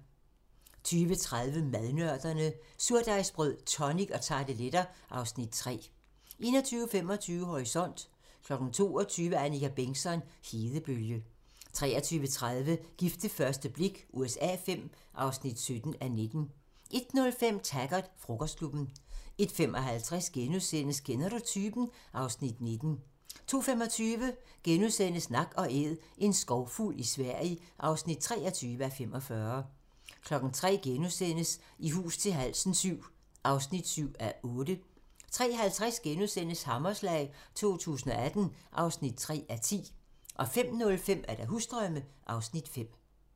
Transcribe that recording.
20:30: Madnørderne - Surdejsbrød, tonic og tarteletter (Afs. 3) 21:25: Horisont (tir) 22:00: Annika Bengtzon: Hedebølge 23:30: Gift ved første blik USA V (17:19) 01:05: Taggart: Frokostklubben 01:55: Kender du typen? (Afs. 19)* 02:25: Nak & Æd - en skovfugl i Sverige (23:45)* 03:00: I hus til halsen VII (7:8)* 03:50: Hammerslag 2018 (3:10)* 05:05: Husdrømme (Afs. 5)